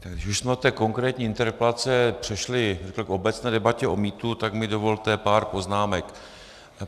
Když už jsme od té konkrétní interpelace přešli k obecné debatě o mýtu, tak mi dovolte pár poznámek.